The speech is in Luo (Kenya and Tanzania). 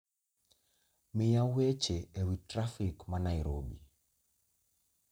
miya weche ewi trafik ma Nairobi